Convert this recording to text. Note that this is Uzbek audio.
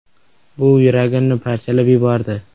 “Bu yuragimni parchalab yubordi.